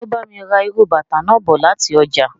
So bá mi ra írú bàtà náà bọ láti ọjà.